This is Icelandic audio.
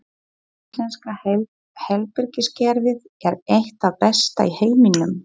Íslenska heilbrigðiskerfið er eitt það besta í heiminum.